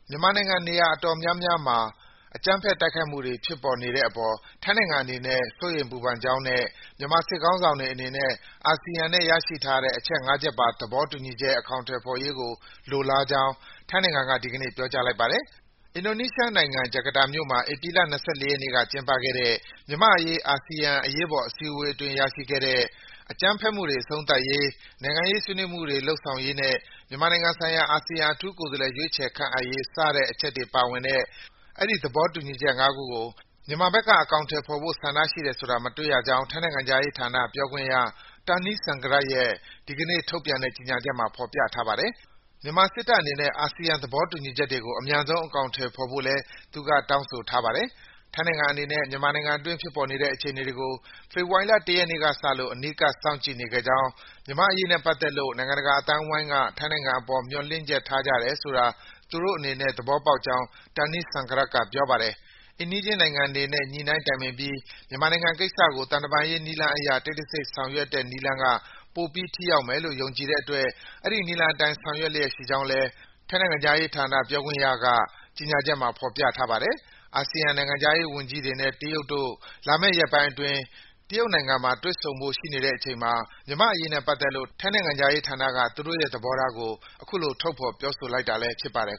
မြန်မာနိုင်ငံ နေရာအတော်များများ အကြမ်းဖက် တိုက်ခိုက်မှုတွေ ဖြစ်ပေါ်နေတဲ့အပေါ် ထိုင်းနိုင်ငံအနေနဲ့ စိုးရိမ်ပူပန်ကြောင်းနဲ့ မြန်မာစစ်ခေါင်းဆောင်တွေ အနေနဲ့ အာဆီယံနဲ့ ရရှိထားတဲ့ အချက် ၅ ချက်ပါ သဘောတူညီချက် အကောင်အထည်ဖော်ရေးကို လိုလားကြောင်း ထိုင်းနိုင်ငံက ဒီကနေ့ ပြောကြားလိုက်ပါတယ်။ အင်ဒိုနီးရှားနိုင်ငံ၊ ဂျကာတာမြို့မှာ ဧပြီလ ၂၄ ရက်နေ့က ကျင်းပခဲ့တဲ့ မြန်မာ့အရေး အာဆီယံ အရေးပေါ်စည်းဝေးပွဲအတွင်း ရရှိခဲ့တဲ့ အကြမ်းဖက်မှုတွေ အဆုံးသတ်ရေး၊ နိုင်ငံရေးဆွေးနွေးမှုတွေ လုပ်ဆောင်ရေးနဲ့ မြန်မာနိုင်ငံဆိုင်ရာ အာဆီယံ အထူးကိုယ်စားလှယ် ရွေးချယ်ခန့်အပ်ရေး စတဲ့အချက်တွေပါဝင်တဲ့ အဲဒီ သဘောတူညီချက် ၅ ခုကို မြန်မာဘက်က အကောင်အထည် ဖော်လိုတဲ့ဆန္ဒ ရှိတယ်ဆိုတာ မတွေ့ရကြောင်း ထိုင်းနိုင်ငံခြားရေးဌာန ပြောခွင့်ရ Tanee Sangrat ရဲ့ ဒီကနေ့ထုတ်ပြန်တဲ့ ကြေညာချက်မှာ ဖော်ပြထားပါတယ်။ မြန်မာစစ်တပ်အနေနဲ့ အာဆီယံ သဘောတူညီချက်တွေကို အမြန်ဆုံး အကောင်အထည်ဖော်ဖို့လည်း သူက တောင်းဆိုထားပါတယ်။ ထိုင်းနိုင်ငံအနေနဲ့ မြန်မာနိုင်ငံအတွင်း ဖြစ်ပေါ်နေတဲ့ အခြေအနေတွေကို ဖေဖော်ဝါရီလ ၁ ရက်နေ့ကစလို့ အနီးကပ် စောင့်ကြည့်နေခဲ့ကြောင်း၊ မြန်မာ့အရေးနဲ့ ပတ်သက်လို့ နိုင်ငံတကာ အသိုင်းအဝိုင်းက ထိုင်းနိုင်ငံအပေါ် မျှော်လင့်ချက်ထားကြတယ်ဆိုတာ သူတို့အနေနဲ့ သဘောပေါက်ကြောင်း Tanee Sangrat က ပြောပါတယ်။ အိမ်နီးချင်းနိုင်ငံတွေနဲ့ ညှိနှိုင်းတိုင်ပင်ပြီး မြန်မာနိုင်ငံကိစ္စကို သံတမန်ရေး နည်းလမ်းအရ တိတ်တဆိတ် ဆောင်ရွက်တဲ့နည်းလမ်းက ပိုပြီး ထိရောက်မယ်လို့ ယုံကြည်တဲ့အတွက် အဲဒီနည်းလမ်းအတိုင်း ဆောင်ရွက်လျက်ရှိကြောင်းလည်း ထိုင်းနိုင်ငံခြားရေးဌာန ပြောခွင့်ရ Tanee Sangrat ရဲ့ ကြေညာချက်မှာ ဖော်ပြထားပါတယ်။ အာဆီယံ နိုင်ငံခြားရေးဝန်ကြီးတွေနဲ့ တရုတ်နိုင်ငံတို့ လာမယ့်ရက်ပိုင်းအတွင်း တရုတ်နိုင်ငံမှာ တွေ့ဆုံဖို့ရှိနေတဲ့အချိန်မှာ မြန်မာ့အရေးနဲ့ ပတ်သက်လို့ ထိုင်းနိုင်ငံခြားရေးဌာနက သူတို့ရဲ့သဘောထားကို အခုလို ထုတ်ဖော် ပြောဆိုလိုက်တာလည်း ဖြစ်ပါတယ်